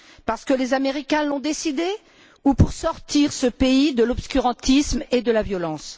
Parce que les Américains l'ont décidé ou pour sortir ce pays de l'obscurantisme et de la violence?